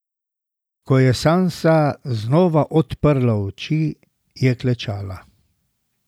Ko je Sansa znova odprla oči, je klečala.